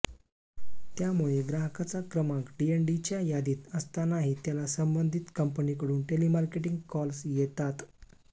त्यामुळे ग्राहकाचा क्रमांक डीएनडीच्या यादीत असतानाही त्याला संबंधित कंपनीकडून टेलिमार्केटिंग कॉल्स येतात